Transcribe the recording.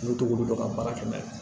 N'u t'olu dɔn ka baara kɛ n'a ye